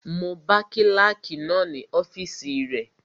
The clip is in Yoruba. Mo bá kílàkì náà ní ọ́fìsì rẹ